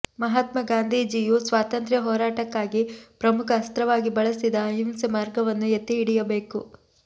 ಮಹಾತ್ಮ ಗಾಂಧಿಜೀಯು ಸ್ವಾತಂತ್ರ್ಯ ಹೋರಾಟಕ್ಕಾಗಿ ಪ್ರಮುಖ ಅಸ್ತ್ರವಾಗಿ ಬಳಸಿದ ಅಹಿಂಸೆ ಮಾರ್ಗವನ್ನು ಎತ್ತಿ ಹಿಡಿಯಬೇಕು